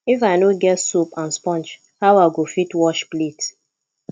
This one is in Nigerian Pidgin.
if i no get soap and sponge how i go fit wash plate